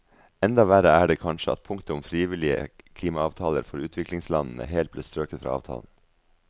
Enda verre er det kanskje at punktet om frivillige klimaavtaler for utviklingslandene helt ble strøket fra avtalen.